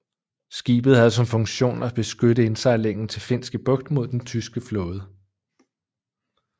Skibet havde som funktion at beskytte indsejlingen til Finske bugt mod den tyske flåde